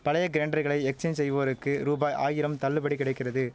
பழைய கிரைண்டர்களை எக்ஸ்சேஞ்ச் செய்வோருக்கு ரூபாய் ஆயிரம் தள்ளுபடி கிடைக்கிறது